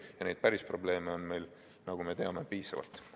Ja neid päris probleeme on meil, nagu me teame, piisavalt.